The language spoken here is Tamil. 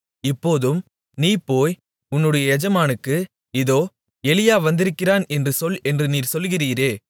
இப்போதும் நீ போய் உன்னுடைய எஜமானுக்கு இதோ எலியா வந்திருக்கிறான் என்று சொல் என்று நீர் சொல்லுகிறீரே